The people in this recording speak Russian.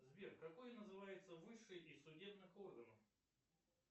сбер какой называется высший из судебных органов